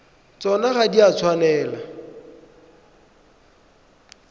tsona ga di a tshwanela